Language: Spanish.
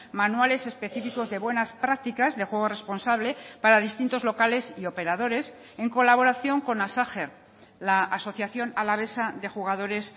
manuales específicos de buenas prácticas de juego responsable para distintos locales y operadores en colaboración con la asociación alavesa de jugadores